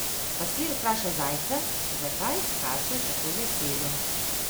Pastir vpraša zajca, zakaj skače tako veselo.